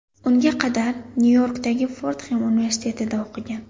Unga qadar Nyu-Yorkdagi Fordxem universitetida o‘qigan.